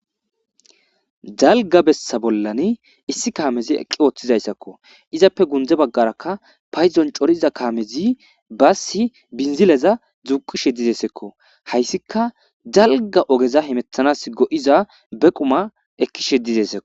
Dalgga bessa bollan issi kaamezi eqqi ooththizayssakko izappe gunde baggaraka payddon coriza kaamezi baassi binzileza duuqishshe deesikkoko hayssika dalgga ogeza hemettanas go'iza be qumma ekishshe de'esikko